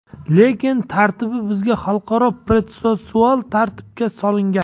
Lekin tartibi bizda xalqaro protsessual tartibga solingan.